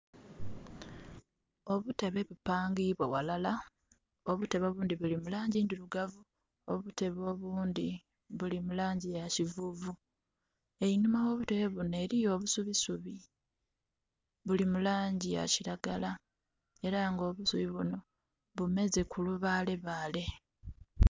Obutebe bupaangibwa ghalala. Obutebe obundhi buli mu laangi ndirugavu. Obutebe obundhi buli mu laangi ya kivuuvu. Einhuma gho butebe buno eliyo obusubisubi, buli mu laangi ya kiragala. Era nga obusubi buno bumeze ku lubaalebaale.